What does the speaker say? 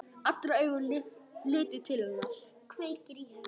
Allra augu litu til hennar.